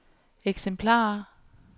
eksemplarer